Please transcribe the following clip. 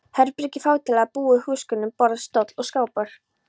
Herbergi fátæklega búið húsgögnum: borð, stóll, skápur.